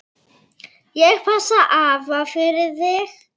Ég passa afa fyrir þig.